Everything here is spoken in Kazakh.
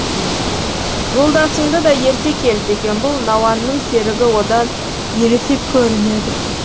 жолдасыңды да ерте кел деген бұл науанның серігі одан ересек көрінеді